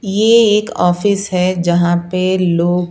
ये एक ऑफिस है जहां पे लोग--